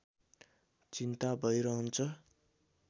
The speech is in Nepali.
चिन्ता भै रहन्छ